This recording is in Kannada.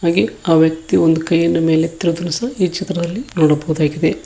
ಹಾಗೆ ಆ ವ್ಯಕ್ತಿಯು ಒಂದು ಕೈಯನ್ನೂ ಮೇಲೆತ್ತಿರುವುದನ್ನು ಸಹ ಈ ಚಿತ್ರದಲ್ಲಿ ನೋಡಬಹುದಾಗಿದೆ.